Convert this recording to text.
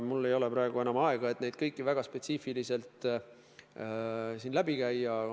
Mul ei ole praegu enam aega, et neid kõiki siin läbi käia.